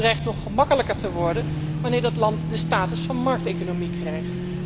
En dat dreigt nog gemakkelijker te worden, wanneer dat land de status van markteconomie krijgt.